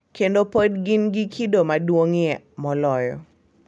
Kendo pod gin gi kido maduong’ie moloyo.